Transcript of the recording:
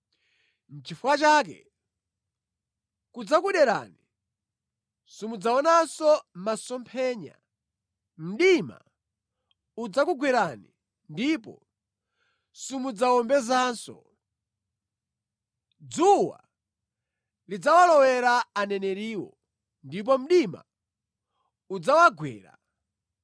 Nʼchifukwa chake kudzakuderani, simudzaonanso masomphenya, mdima udzakugwerani ndipo simudzawombezanso. Dzuwa lidzawalowera aneneriwo, ndipo mdima udzawagwera.